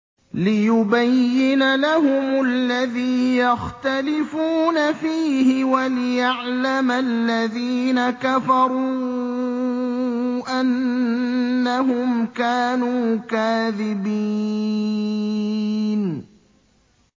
لِيُبَيِّنَ لَهُمُ الَّذِي يَخْتَلِفُونَ فِيهِ وَلِيَعْلَمَ الَّذِينَ كَفَرُوا أَنَّهُمْ كَانُوا كَاذِبِينَ